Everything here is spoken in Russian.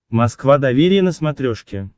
москва доверие на смотрешке